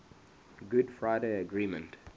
good friday agreement